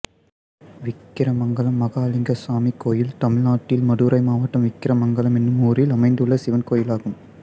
விக்கிரமங்கலம் மகாலிங்கசாமி கோயில் தமிழ்நாட்டில் மதுரை மாவட்டம் விக்கிரமங்கலம் என்னும் ஊரில் அமைந்துள்ள சிவன் கோயிலாகும்